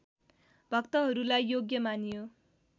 भक्तहरूलाई योग्य मानियो